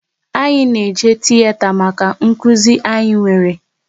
Anyị na eje tiyeta maka nkụzi anyị nwere